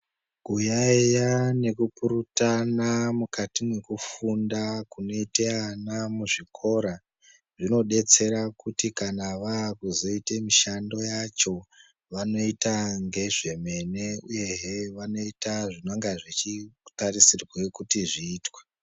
Kuyaeya nekupurutana mukati mwekufunda kunoite ana muzvikora zvinodetsera kuti kana vaakuzoite mishando yacho, vanoita ngezvemene, uyehe vanoita zvinonga zvechitarisirwe kuti zviitwe.